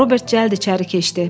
Robert cəld içəri keçdi.